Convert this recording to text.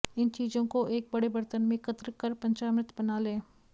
इन चीजों को एक बड़े बर्तन में एकत्र कर पंचामृत बना लें